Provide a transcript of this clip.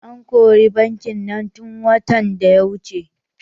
An kori bankin nan tun watan da ya wuce.